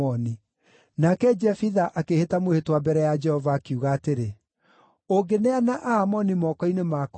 Nake Jefitha akĩĩhĩta mwĩhĩtwa mbere ya Jehova, akiuga atĩrĩ, “Ũngĩneana Aamoni moko-nĩ makwa-rĩ,